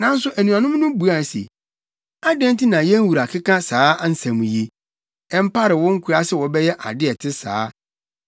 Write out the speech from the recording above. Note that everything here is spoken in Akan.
Nanso anuanom no buaa no se, “Adɛn nti na yɛn wura keka saa nsɛm yi? Ɛmpare wo nkoa sɛ wɔbɛyɛ ade a ɛte saa!